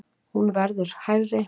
Hún verði hærri.